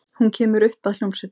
Hún kemur upp að hljómsveitinni.